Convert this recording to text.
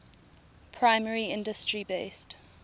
primary industry based